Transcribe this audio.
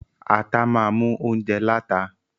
Ata máa mú óunjẹ láta.